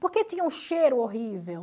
Por que tinha um cheiro horrível?